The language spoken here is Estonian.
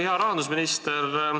Hea rahandusminister!